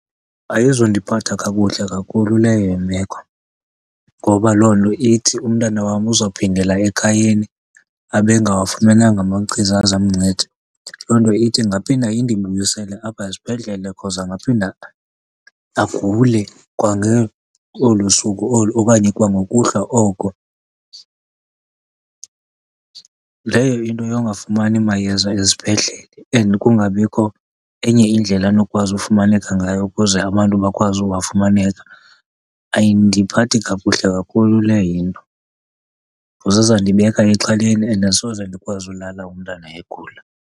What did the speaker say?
Ayizundiphatha kakuhle kakhulu leyo imeko. Ngoba loo nto ithi umntana wam uzophindela ekhayeni abe engawafumananga amachiza azamnceda. Loo nto ithi ingaphinda indibuyisele apha esibhedlele because angaphinda agule olu suku olo okanye kwangokuhlwa oko. Leyo into yongafumani mayeza ezibhedlele and kungabikho enye indlela anokwazi ufumaneka ngayo ukuze abantu bakwazi uwafumaneka, ayindiphathi kakuhle kakhulu leyo into, because izawundibeka exhaleni and asoze ndikwazi ulala umntana egula.